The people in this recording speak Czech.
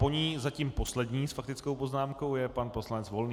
Po ní zatím poslední s faktickou poznámkou je pan poslanec Volný.